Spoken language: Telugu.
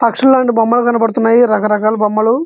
పక్షుల్లు లాంటి బొమ్మల్లు కనపడుతూన్నాయి రక రకాల బొమ్మల్లు.